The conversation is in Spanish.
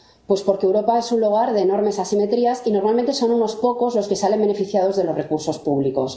Pues porque Europa es un lugar de enormes asimetrías y normalmente son unos pocos los que salen beneficiados de los recursos públicos.